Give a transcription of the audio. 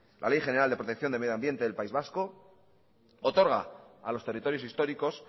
la ley general de protección de medioambiente del país vasco otorga a los territorios históricos